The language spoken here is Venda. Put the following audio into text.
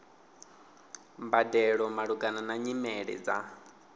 mbadelo malugana na nyimele dza